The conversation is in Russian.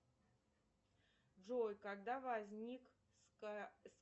джой когда возник